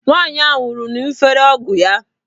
Nwaanyị ahụ nwụrụ ṅufere ọgwụ ya.